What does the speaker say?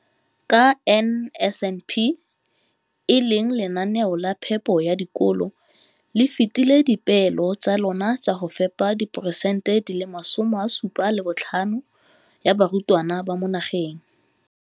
Ka NSNP le fetile dipeelo tsa lona tsa go fepa masome a supa le botlhano a diperesente ya barutwana ba mo nageng.